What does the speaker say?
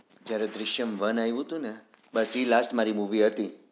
જયારે દૃશ્યમ one અવયું હતું ને બાકી last મારી movie હતી